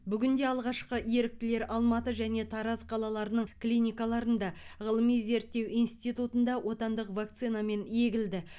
бүгінде алғашқы еріктілер алматы және тараз қалаларының клиникаларында ғылыми зерттеу институтында отандық вакцинамен егілді